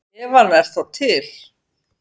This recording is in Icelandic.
Ef hann er þá til!